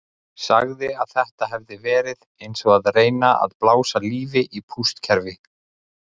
Sagði að þetta hefði verið eins og að reyna að blása lífi í pústkerfi.